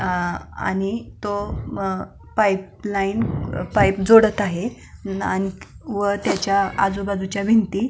आणि तो पाऊस पाईप लाईन जोडत आहे अ व त्याच्या आजूबाजूच्या भिंती --